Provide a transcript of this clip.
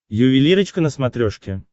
ювелирочка на смотрешке